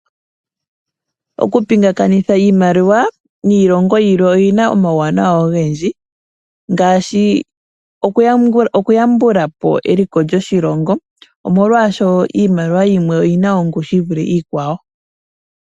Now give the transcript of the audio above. Okupingakanitha iimaliwa niilongo yilwe oyi na omauwanawa ogendji ,ngaashi okuyambulapo eliko lyoshilongo omolwashoka iimaliwa yimwe oyi na ongushu yi vule iikwawo.